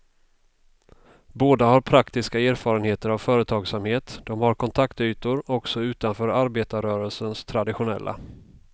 Båda har praktiska erfarenheter av företagsamhet, de har kontaktytor också utanför arbetarrörelsens traditionella.